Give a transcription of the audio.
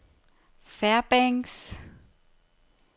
Fairbanks